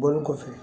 Bɔlen kɔfɛ